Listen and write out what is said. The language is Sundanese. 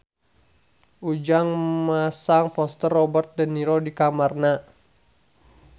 Ujang masang poster Robert de Niro di kamarna